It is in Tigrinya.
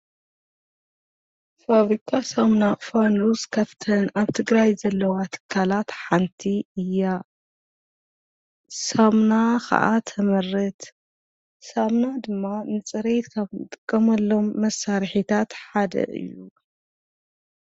ፋብሪካ ሳሙና ፋኑስ ካፍተን ኣብ ትግራይ ዘለዋ ትካላት ሓንቲ እያ፡፡ ሳምና ኸዓ ተመርት፣ ሳምና ድማ ምፅረይ ትጥቀመሎም መሳርሒታት ሓደ እዩ፡፡